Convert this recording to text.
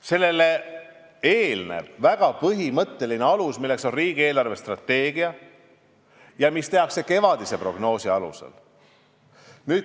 Sellele eelneb väga põhimõttelise aluse tegemine, see on riigi eelarvestrateegia, mis tehakse kevadise prognoosi alusel.